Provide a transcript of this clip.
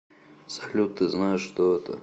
салют ты знаешь что это